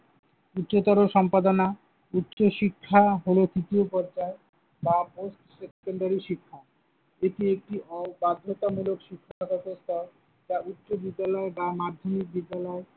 উচ্চতর সম্পাদনা, উচ্চ শিক্ষা হলো তৃতীয় পর্যায়ে বা most শিক্ষা। এটি একটি অবাধ্যতামূলক শিক্ষাব্যবস্থা। যা উচ্চ বিদ্যালয় বা মাধ্যমিক বিদ্যালয়